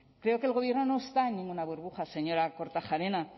creo que el gobierno no está en ninguna burbuja señora kortajarena